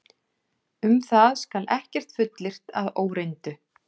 Um það skal ekkert fullyrt að óreyndu.